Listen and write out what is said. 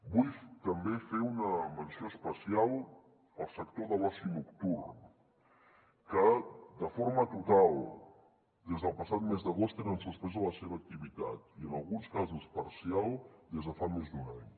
vull també fer una menció especial al sector de l’oci nocturn que de forma total des del passat mes d’agost tenen suspesa la seva activitat i en alguns casos parcial des de fa més d’un any